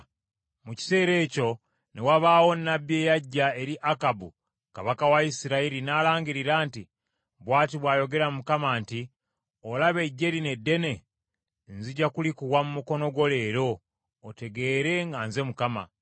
Mu kiseera ekyo ne wabaawo nnabbi eyajja eri Akabu kabaka wa Isirayiri n’alangirira nti, “Bw’ati bw’ayogera Mukama nti, ‘Olaba eggye lino eddene? Nzija kulikuwa mu mukono gwo leero, otegeere nga nze Mukama .’”